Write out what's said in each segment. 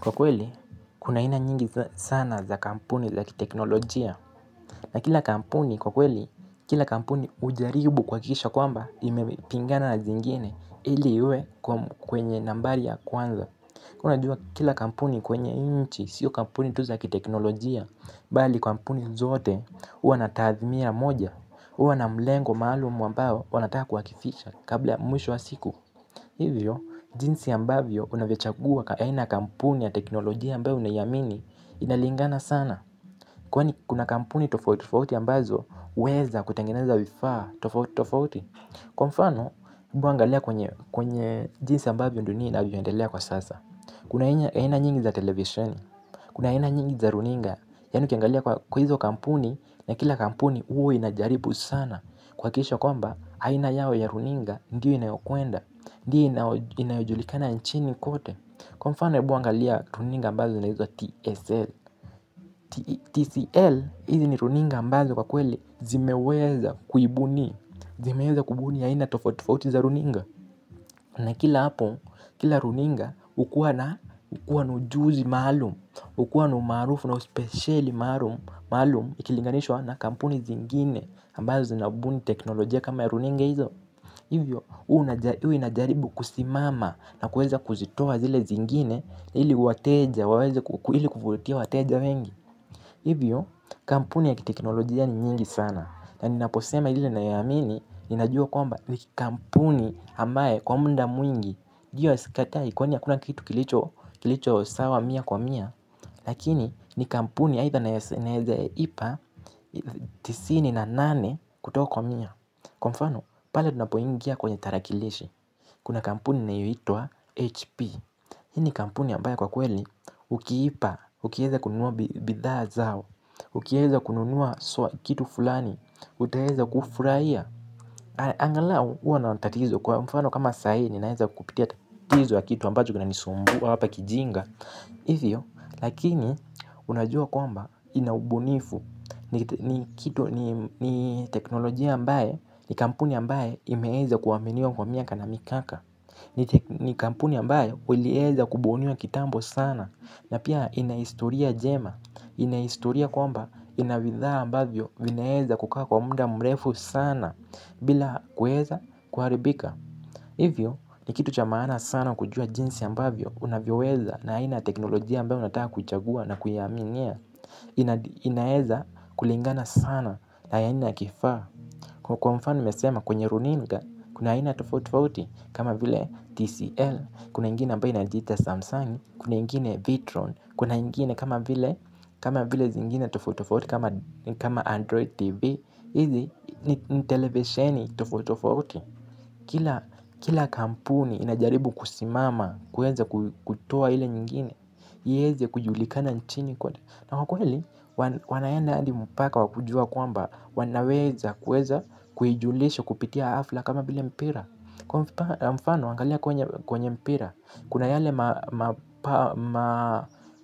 Kwa kweli, kuna aina nyingi sana za kampuni za kiteknolojia. Na kila kampuni kwa kweli, kila kampuni hujaribu kuhakikisha kwamba imepingana na zingine. Ili iwe kwenye nambari ya kwanza. Ka unajua kila kampuni kwenye hii nchi, sio kampuni tu za kiteknolojia. Bali kampuni zote, huwa na tathmia moja huwa na mlengo maalum ambao, wanataka kuakifisha kabla mwisho wa siku. Hivyo, jinsi ambavyo unavyochagua aina ya kampuni ya teknolojia ambayo unaiamini inalingana sana. Kwani kuna kampuni tofauti tofauti ambazo huweza kutengeneza vifaa tofauti tofauti. Kwa mfano, hebu angalia kwenye jinsi ambavyo dunia inavyoendelea kwa sasa. Kuna aina nyingi za television, kuna aina nyingi za runinga, yani ukiangalia kwa hizo kampuni na kila kampuni huwa inajaribu sana. Kuhakikisha kwamba, aina yao ya runinga ndio inayokwenda. Ndiyo inayojulikana nchini kote. Kwa mfano hebu angalia runinga ambazo zina hizo TSL TCL hizi ni runinga ambazo kwa kweli zimeweza kuibuni. Zimeweza kubuni aina tofauti tofauti za runinga. Na kila hapo, kila runinga hukuwa na hukuwa na ujuzi malum hukuwa na umaarufu na uspesheli maalum. Ikilinganishwa na kampuni zingine ambazo zinabuni teknolojia kama ya runinga hizo. Hivyo, huwa inajaribu kusimama na kuweza kuzitoa zile zingine ili wateja waweze ili kuvutia wateja wengi. Hivyo, kampuni ya kiteknolojia ni nyingi sana. Na ninaposema ile nayoiamini, ninajua kwamba ni kampuni ambae kwa muda mwingi. Ndiyo sikatai kwani hakuna kitu kilicho sawa mia kwa mia. Lakini, ni kampuni aidha naeza ipa tisini na nane kutoko kwa mia. Kwa mfano, pale tunapoingia kwenye tarakilishi. Kuna kampuni inayoitwa HP. Hii ni kampuni ambayo kwa kweli ukiipa, ukiweza kununua bidhaa zao ukiweza kununua swa kitu fulani utaeza kufurahia angalau huwa na tatizo. Kwa mfano kama sahi, ninaeza kupitia tatizo wa kitu ambacho kinanisumbua hapa kijinga. Hivyo, lakini unajua kwamba ina ubunifu. Ni kitu ni teknolojia ambaye ni kampuni ambaye imeweza kuaminiwa kwa miaka na mikaka. Ni kampuni ambayo ulieza kubuniwa kitambo sana. Na pia ina historia jema ina historia kwamba ina bidhaa ambavyo vinaeza kukaa kwa muda mrefu sana bila kueza kuharibika. Hivyo ni kitu cha manaa sana kujua jinsi ambavyo unavyoweza na aina ya teknolojia ambayo unataka kuchagua na kuiaminia. Inaeza kulingana sana na ya aina kifaa. Kwa mfano umesema kwenye runinga. Kuna aina tofauti tofauti kama vile TCL, kuna ingine ambayo inajiita Samsung, kuna ingine Vitron, kuna ingine kama vile kama vile zingine tofauti tofauti Kama Android TV. Izi ni televisioni tofauti tofauti. Kila kampuni inajaribu kusimama kuweza kutoa ile nyingine ieze kujulikana nchini. Na kwa kweli, wanaenda hadi mpaka wa kujua kwamba wanaweza kuweza kuijulisha kupitia hafla kama vile mpira. Kwa mfano, angalia kwenye mpira. Kuna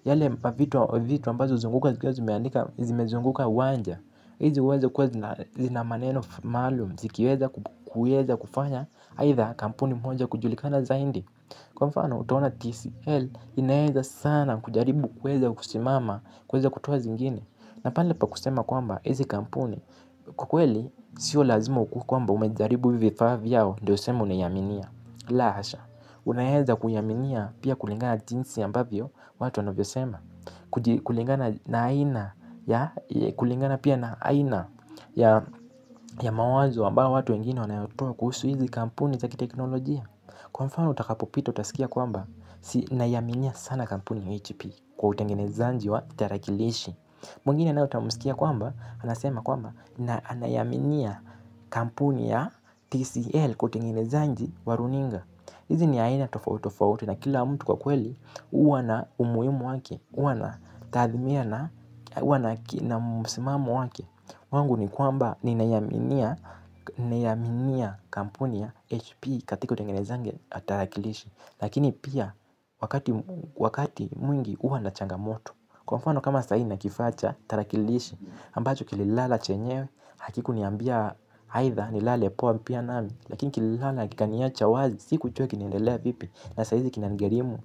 yale mavitu vitu ambazo huzunguka, zikiwa zimeandika, zimezunguka uwanja. Hizi huweza kuwa, zina maneno malum, zikiweza kufanya aidha kampuni moja kujulikana zaidi. Kwa mfano utaona TCL inaeza sana kujaribu kuweza kusimama kuweza kutoa zingine. Na pale pa kusema kwamba hizi kampuni kwa kweli sio lazima ukuwe kwamba umejaribu hivi vifaa vyao ndio useme unaiaminia. La hasha, unaeza kuyaminia pia kulingana na jinsi ambavyo watu wanavyosema. Kulingana pia na aina ya mawazo ambao watu wengini wanayatoa kuhusu hizi kampuni za kiteknolojia. Kwa mfano utakapopita utasikia kwamba si naiaminia sana kampuni ya HP kwa utengenezaji wa tarakilishi. Mwingine naye utamsikia kwamba anasema kwamba anaiaminia kampuni ya TCL kwa utengenezaji wa runinga. Hizi ni aina tofauti tofauti na kila mtu kwa kweli huwa na umuhimu wake huwa na tathimia na msimamo wake. Wangu ni kwamba ninaiaminia kampuni ya HP katika utengenezaji wa tarakilishi. Lakini pia wakati mwingi huwa na changamoto. Kwa mfano kama sahii nina kifaa cha tarakilishi ambacho kililala chenyewe. Hakikuniambia aidha nilale poa pia nami. Lakini kililala kikaniacha wazi. Sikjua kinaendelea vipi. Na saizi kinanigharimu.